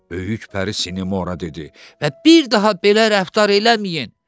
Böyük pəri Sinemora dedi və bir daha belə rəftar eləməyin.